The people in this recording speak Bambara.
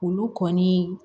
Olu kɔni